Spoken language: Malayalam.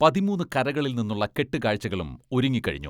പതിമൂന്ന് കരകളിൽ നിന്നുള്ള കെട്ടുകാഴ്ചകളും ഒരുങ്ങിക്കഴിഞ്ഞു.